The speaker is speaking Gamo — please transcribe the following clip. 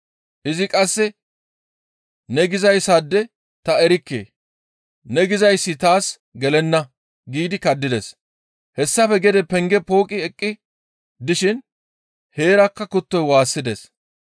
Izi qasse, «Ne gizayssaade ta erikke; ne gizayssi taas gelenna» giidi kaddides. Hessafe gede penge pooqqi eqqi dishin heerakka kuttoy waassides.